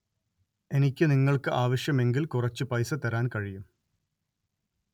എനിക്ക് നിങ്ങള്‍ക്ക് ആവശ്യമെങ്കില്‍ കുറച്ചു പൈസ തരാന്‍ കഴിയും